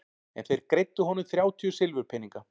En þeir greiddu honum þrjátíu silfurpeninga.